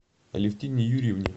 алевтине юрьевне